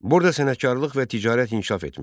Burada sənətkarlıq və ticarət inkişaf etmişdi.